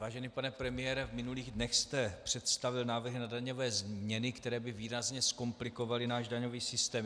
Vážený pane premiére, v minulých dnech jste představil návrhy na daňové změny, které by výrazně zkomplikovaly náš daňový systém.